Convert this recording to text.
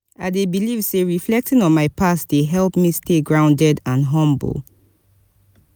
i dey believe say reflecting on my past dey help me stay grounded and humble.